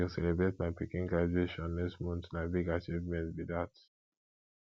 we go celebrate my pikin graduation next month na big achievement be dat